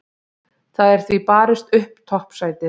Það er því barist upp toppsætið.